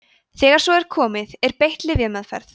þegar svo er komið er beitt lyfjameðferð